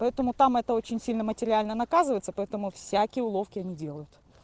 поэтому там это очень сильно материально наказывается поэтому всякие уловки не делают